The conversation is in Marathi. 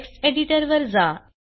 टेक्स्ट एडिटर वर जा